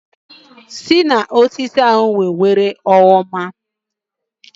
Si n'osisi ahụ Were oroma